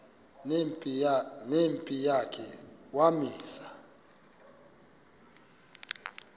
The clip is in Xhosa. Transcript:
nempi yakhe wamisa